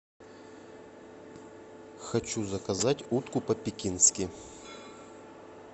хочу заказать утку по пекински